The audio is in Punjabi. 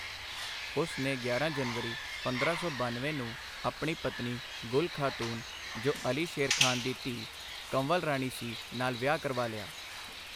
ਉਸ ਨੇ ਗਿਆਰਾਂ ਜਨਵਰੀ ਪੰਦਰਾਂ ਸੌ ਬਾਨਵੇਂ ਨੂੰ ਆਪਣੀ ਪਤਨੀ ਗੁਲ ਖਾਤੂਨ, ਜੋ ਅਲੀ ਸ਼ੇਰ ਖਾਨ ਦੀ ਧੀ ਕੰਵਲ ਰਾਣੀ ਸੀ, ਨਾਲ ਵਿਆਹ ਕਰਵਾ ਲਿਆ।